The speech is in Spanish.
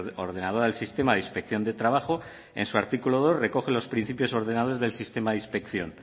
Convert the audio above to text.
ordenadora del sistema de inspección de trabajo en su artículo dos recoge los principios ordenadores del sistema de inspección